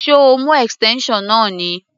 Ṣé o mú extension náà ni?